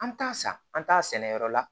An t'a san an t'a sɛnɛ yɔrɔ la